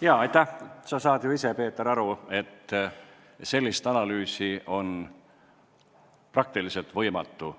Sa, Peeter, saad ju ise aru, et sellist analüüsi on praktiliselt võimatu